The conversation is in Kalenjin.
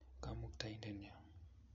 Kamukta-indennyo.